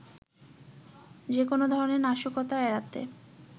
যেকোনো ধরণের নাশকতা এড়াতে